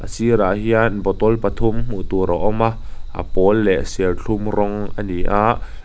a sirah hian bottle pathum hmuh tur a awm a a pawl leh serthlum rawng a ni a.